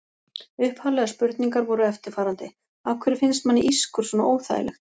Upphaflegar spurningar voru eftirfarandi: Af hverju finnst manni ískur svona óþægilegt?